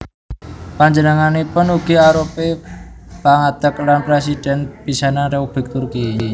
Panjenenganipun ugi arupi pangadeg lan Présidhèn pisanan Républik Turki